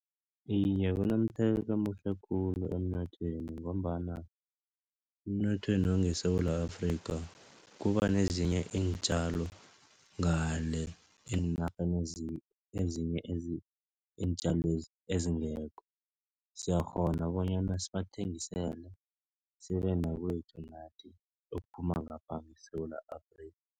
Iye, kunomthelela omuhle khulu emnothweni. Ngombana emnothweni wangeSewula Afrika kuba nezinye iintjalo ngale eenarheni ezinye iintjalwezi ezingekho. Siyakghona bonyana sibathengisele sibe nokwethu okuphuma ngapha eSewula Afrika.